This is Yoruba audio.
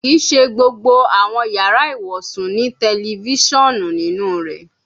Kii ṣe gbogbo awọn yara iwosun ni tẹlifisiọnu ninu rẹ